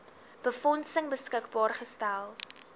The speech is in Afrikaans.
befondsing beskikbaar gestel